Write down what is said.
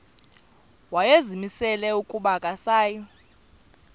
wayezimisele ukuba akasayi